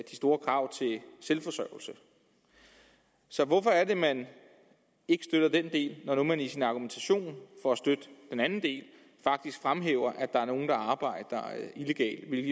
store krav til selvforsørgelse så hvorfor er det man ikke støtter den del når nu man i sin argumentation for at støtte den andel faktisk fremhæver at der er nogle der arbejder illegalt